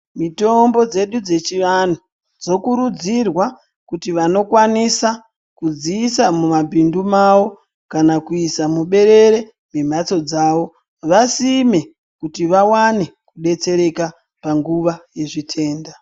Mitombo dzedu dze chi vanhu dzokurudzirwa kuti vanokwanisa kudziisa mu mabhintu mavo kana kuiisa mu berere me matso dzavo vasime kuti vawane kubetsereka panguva ye zvitenda.